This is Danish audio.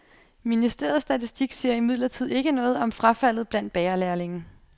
Ministeriets statistik siger imidlertid ikke noget om frafaldet blandt bagerlærlinge.